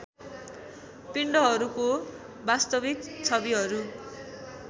पिण्डहरूको वास्तविक छविहरू